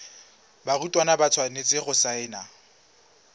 barutwana ba tshwanetse go saena